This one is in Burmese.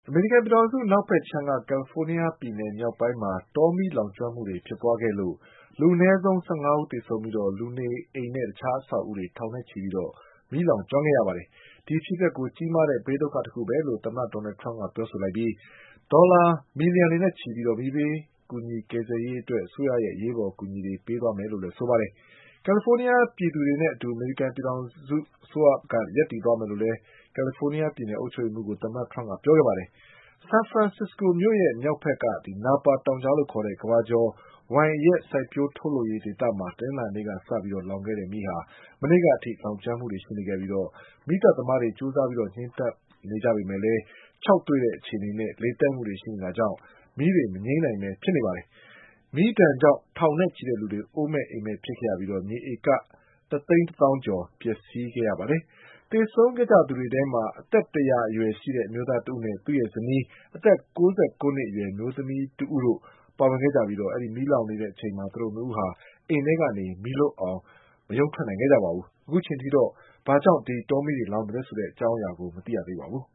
အမေရိကန်ပြည်ထောင်စု အနောက်ဘက်ခြမ်းက ကလ်လီဖိုးနီးယား ပြည်နယ် မြောက်ပိုင်းမှာ တောမီးလောင်မှုတေ ွဖြစ်ပွါးခဲ့လို့လူအနည်းဆုံး ၁၅ ဦး သေဆုံးခဲ့ပြီး လူနေအိမ်နဲ့ တခြား အဆောက်အဦး ထောင်နဲ့ချီပြီး မီးလောင်ကျွမ်းခဲ့ရပါတယ်။ ဒီအဖြစ်အပျက်ကို ကြီးမားတဲ့ ဘေးဒုက္ခတခုပဲလို့သမ္မတ ဒေါ်နလ်ထရမ့်က ပြောဆိုလိုက်ပြီး ဒေါ်လာ သန်းနဲ့ချီပြီး မီးဘေး ကူညီကယ်ဆယ်ရေး အတွက် အစိုးရရဲ့ အရေးပေါ် အကူအညီတွေ ပေးသွားမယ်လို့လည်း ဆိုပါတယ်။ ကယ်လီဖိုးနီးယား ပြည်သူတွေနဲ့ အတူ ပြည်ထောင်စု အစိုးရက ရပ်တည်သွားမယ်လို့ ကလ်လီဖိုးနီးယား ပြည်နယ်အုပ်ချုပ်ရေးမှုးကို သမ္မတထရမ့်က ပြောခဲ့ပါတယ်။ ဆန်ဖရန်စ္စကိုမြို့ရဲ့ မြောက်ဘက်က နာပါတောင်ကြားလို့ ခေါ်တဲ့ ကမ္ဘာကျော် ဝိုင်အရက် စိုက်ပျိုးထုတ်လုပ်ရေး ဒေသမှာ တနင်္လာနေ့က စခဲ့တဲ့ မီးလောင်မှုဟာ မနေ့က အထိ လောင်ကျွမ်းနေခဲ့ပြီး မီးသတ်သမားတွေ ကြိုးစား ငြိမ်းသတ်နေကြပေမဲ့ ခြောက်သွေ့တဲ့ အခြေအနေနဲ့ လေတိုက်မှုတွေ ရှိနေတာကြောင့် မီးတွေ မငြိမ်းနိုင်ဘဲ ဖြစ်နေပါတယ်။ မီးဒဏ်ကြောင့် ထောင်နဲ့ချီတဲ့လူတွေ အိုးအိမ်မဲ့ဖြစ်ခဲ့ရပြီး မြေဧက ၁သိန်း ၁ သောင်းကျော် ပျက်စီးခဲ့ရပါတယ်။ သေဆုံးခဲ့သူတွေထဲမှာ အသက် ၁၀၀ အရွယ်ရှိတဲ့ အမျိုးသားတဦးနဲ့ သူ့ရဲ့ဇနီး အသက် ၉၉ နှစ် အရွယ်အမျိုးသမီး တဦးတို့ ပါဝင်ခဲ့ကြပြီး မီးလောင်နေချိန်မှာ သူတို့နှစ်ဦးက အိမ်ထဲကနေ မီးလွတ်အောင် မထွက်နိုင်ခဲ့ကြပါဘူး။ အခုချိန်ထိတော့ ဘာ ကြောင့် ဒီမီးတွေ လောင်သလဲ ဆိုတာကို မသိရသေးပါဘူး